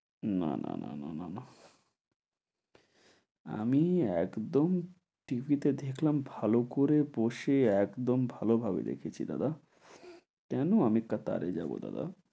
না না না না না না। আমি একদম TV তে দেখলাম ভালো করে বসে একদম ভালোভাবে দেখেছি দাদা। কেন আমি কাতারে যাব দাদা?